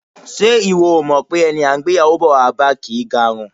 Ṣé ìwọ ò mọ̀ pé ẹni à ń gbéyàwó bọ̀ wá bá kì í garùn?